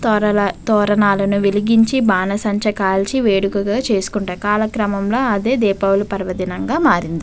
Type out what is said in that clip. తోరరా తోరణాలు వెలిగించి బానిసంచులు కాల్చి వేడుకదా చేసుకుంటారు. కాలకంగా అదే దీపావళిగా పర్వదినంగా మారింది.